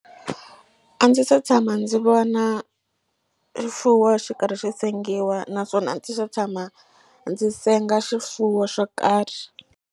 A ndzi se tshama ndzi vona xifuwo xi karhi xi sengiwa naswona a ndzi se tshama ndzi senga xifuwo xo karhi.